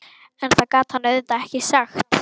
En það gat hann auðvitað ekki sagt.